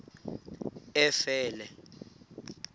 efele